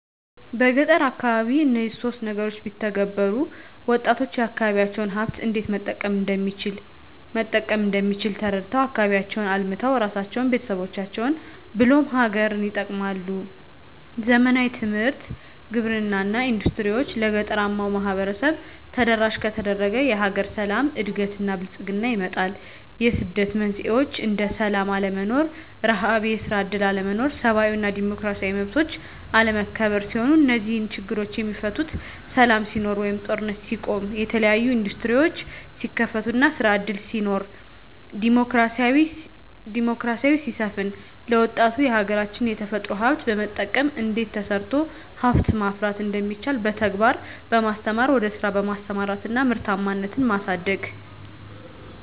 በገጠር አካባቢ እነዚህን ሶስት ነገሮች ቢተገበሩ -ወጣቶች የአካባቢዎቻቸውን ሀብት እንዴት መጠቀም እንደሚችል ተረድተው አካባቢያቸውን አልምተው እራሳቸውን፤ ቤተሰቦቻቸውን ብሎም ሀገርን ይጠቅማሉ። ዘመናዊ ትምህርት፤ ግብርና እና ኢንዱስትሪዎች ለገጠራማው ማህበረሰብ ተደራሽ ከተደረገ የሀገር ሰላም፤ እድገት እና ብልፅግና ይመጣል። የስደት መንስኤዎች እንደ ስላም አለመኖር፤ ርሀብ፤ የስራ እድል አለመኖር፤ ሰብአዊ እና ዲሞክራሲያዊ መብቶች አለመከበር ሲሆኑ -እነዚህ ችግሮች የሚፈቱት ሰላም ሲኖር ወይም ጦርነት ሲቆም፤ የተለያዬ እንዱስትሪዎች ሲከፈቱ እና ስራ እድል ሲኖር፤ ዲሞክራሲ ሲሰፍን፤ ለወጣቱ የሀገራች የተፈጥሮ ሀብት በመጠቀም እንዴት ተሰርቶ ሀብት ማፍራት እንደሚቻል በተግባር በማስተማር ወደ ስራ በማሰማራት እና ምርታማነትን ማሳደግ።